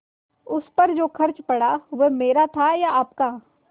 उस पर जो खर्च पड़ा वह मेरा था या आपका